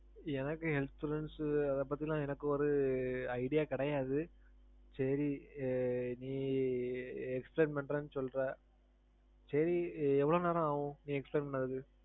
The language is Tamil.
எனக்கு insurance அத பத்தி எல்லாம் எனக்கு ஒரு idea கிடையாது. சேரி நீ explain பன்றேன்னு சொல்ற. சரி எவளோ நேரம் ஆகும் நீ explain பண்றதுக்கு?